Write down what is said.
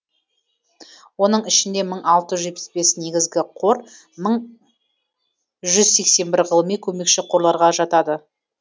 оның ішінде мың алты жүз жетпіс бес негізгі қор жүз сексен бір ғылыми көмекші қорларға жатады